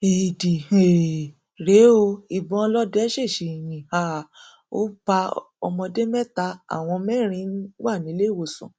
éèdì um rèé o ìbọn ọlọdẹ ṣèèṣì yín um ó pa ọmọdé mẹta àwọn mẹrin wá nílẹẹwọsàn